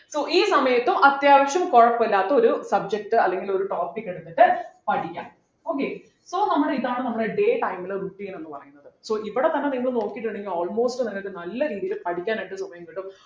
so ഈ സമയത്തും അത്യാവശ്യം കുഴപ്പമില്ലാത്ത ഒരു subject അല്ലെങ്കിൽ ഒരു topic എടുത്തിട്ട് പഠിക്കാം okay so നമ്മുടെ ഇതാണ് നമ്മുടെ day time ലെ routine എന്ന് പറയുന്നത്‌ so ഇവിടെ തന്നെ നിങ്ങൾ നോക്കിയിട്ടുണ്ടെങ്കിൽ almost നിങ്ങക്ക് നല്ല രീതിയിൽ പഠിക്കാനായിട്ടൊരു സമയം കിട്ടും